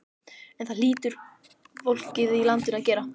En það hlýtur fólkið í landinu að gera.